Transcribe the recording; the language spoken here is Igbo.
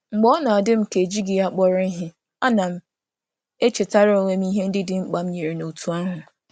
Mgbe ọ na-adị m ka ejighị ya kpọrọ ihe, ana m echetara onwe m ihe ndị dị mkpa m nyere n’òtù ahụ.